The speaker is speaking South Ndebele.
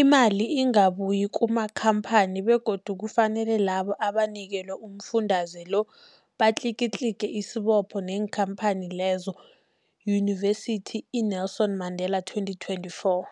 Imali ingabuyi kumakhamphani begodu kufanele labo abanikelwa umfundaze lo batlikitliki isibopho neenkhamphani leyo, Yunivesity i-Nelson Mandela 2024.